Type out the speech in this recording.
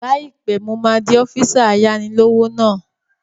Láìpẹ́, mo máa di ọ́físà ayáni-lówó náà